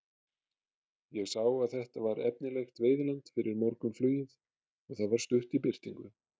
Ég sá að þetta var efnilegt veiðiland fyrir morgunflugið og það var stutt í birtingu.